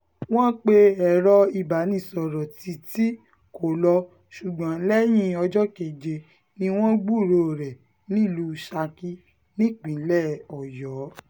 wọ́n pe ẹ̀rọ ìbánisọ̀rọ̀ títí kò lọ ṣùgbọ́n lẹ́yìn ọjọ́ keje ni wọ́n gbúròó rẹ̀ nílùú saki nípínlẹ̀ ọ̀yọ́